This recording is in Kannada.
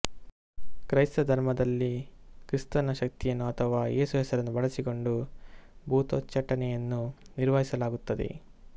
ಕ್ರೈಸ್ತ ಧರ್ಮದಲ್ಲಿಕ್ರಿಸ್ತನ ಶಕ್ತಿಯನ್ನು ಅಥವಾ ಏಸು ಹೆಸರನ್ನು ಬಳಸಿಕೊಂಡು ಭೂತೋಚ್ಚಾಟನೆಯನ್ನು ನಿರ್ವಹಿಸಲಾಗುತ್ತದೆ